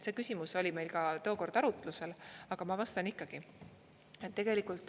See küsimus oli meil ka tookord arutlusel, aga ma vastan ikkagi.